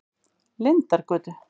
Lindargötu